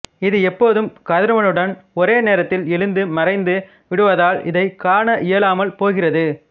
இது எப்போதும் கதிரவனுடன் ஒரே நேரத்தில் எழுந்து மறைந்து விடுவதால் இதைக் காண இயலாமல் போகிறது